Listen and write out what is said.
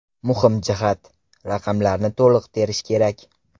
Muhim jihat: raqamlarni to‘liq terish kerak.